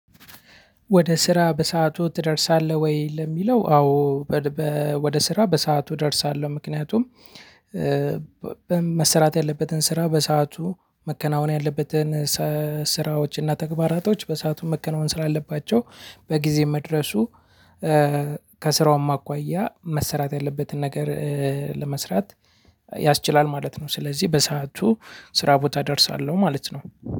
ወደ ስራ በሰአቱ ትደርሳለህ ወይ? ለሚለው አዎ በ ወደ ስራ በሰአቱ እደርሳለሁ ምክንያቱም። በመሰራት ያለበትን ስራ በሰአቱ መከናወን ያለበትን ሰ ስራዎች እና ተግባራቶች በሰአቱን መከናወን ስላለባቸው በጊዜ መድረሱ። ከስራውም አኳያ መሰራት ያለበትን ነገር ለመስራት ያስችላል ማለት ነው። ስለዚህ በሰአቱ ስራ ቦታ እደርሳለሁ ማለት ነው።